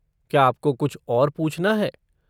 क्या आपको कुछ और पूछना है?